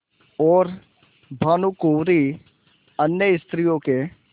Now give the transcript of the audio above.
और भानुकुँवरि अन्य स्त्रियों के